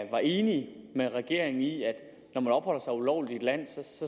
var enige med regeringen i at når man opholder sig ulovligt i et land